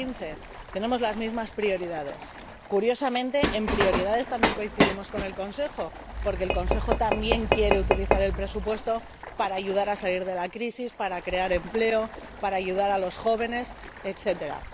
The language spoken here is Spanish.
2015. Curiosamente, en las prioridades también coincidimos con el Consejo, porque el Consejo también quiere utilizar el presupuesto para ayudar a salir de la crisis, para crear empleo, para ayudar a los jóvenes, etcétera.